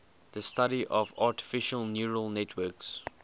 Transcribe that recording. the study of artificial neural networks